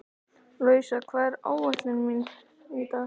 Louisa, hvað er á áætluninni minni í dag?